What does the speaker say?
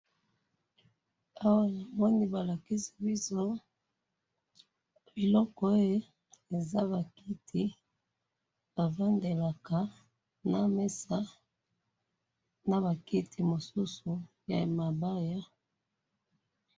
awa namoni balakisi biso biloko oyo eza bakiti bafandelaka naba mesa naba kiti misusu ya mabaya.